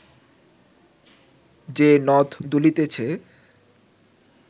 যে নথ দুলিতেছে